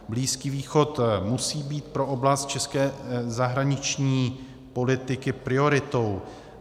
Blízký východ musí být pro oblast české zahraniční politiky prioritou.